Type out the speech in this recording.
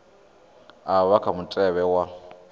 a vha kha mutevhe wa